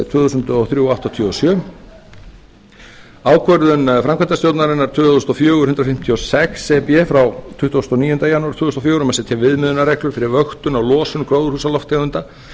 tvö þúsund og þrjú áttatíu og sjö e b og ákvörðun framkvæmdastjórnarinnar tvö þúsund og fjögur hundrað fimmtíu og sex e b frá tuttugasta og níunda janúar tvö þúsund og fjögur um að setja viðmiðunarreglur fyrir vöktun á losun gróðurhúsalofttegunda